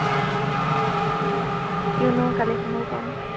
কিয়নো, কালি কিনিব পাওঁ